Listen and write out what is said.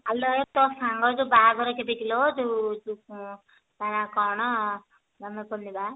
ଆଲୋ ଏ ତୋ ସାଙ୍ଗ ର ଯୋଉ ବାହାଘର କେବେ କିଲୋ ଯୋଉ ତା ନା କଣ ମନେ ପଡୁନି ବା